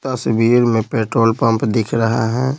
तस्वीर में petrol pump दिख रहा है।